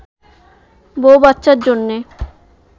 বউ-বাচ্চার জন্যে